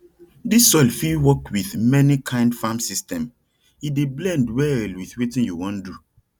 dis soil fit work with many kind farm system e dey blend well with wetin you wan do